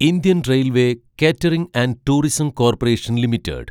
Indian railway catering and tourism corporation limited